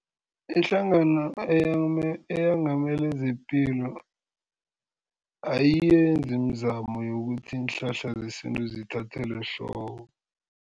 Ihlangano eyengamele zepilo ayiyenzi imizamo yokuthi iinhlahla zesintu zithathelwe ehloko.